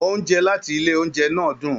Oúnjẹ láti ilé oúnjẹ náà dún.